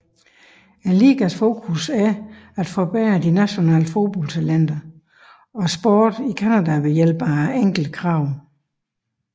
Ligaens fokus er at forbedre de nationale fodbold talentter og sporten i Canada ved hjælp af enkle krav